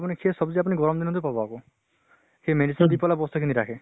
আপোনি সেই চব্জি আপুনি গৰম দিন টো পাব আকৌ। সেই medicine দি পালে বস্তু খিনি ৰাখে।